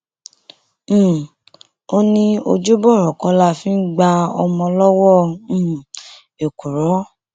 um ó ní ojúbọrọ kọ la fi ń gba ọmọ lọwọ um èkùrọ